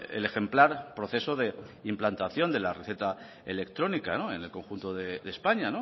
el ejemplar proceso de implantación de la receta electrónica en el conjunto de españa